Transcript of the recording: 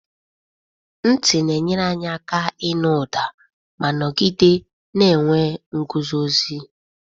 Ntị na-enyere anyị aka ịnụ ụda ma nọgide na-enwe nguzozi.